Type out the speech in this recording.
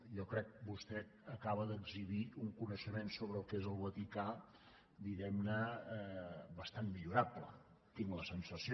jo crec que vostè acaba d’exhibir un coneixement sobre el que és el vaticà diguem ne bastant millorable tinc la sensació